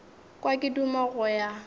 kwa ke duma go ya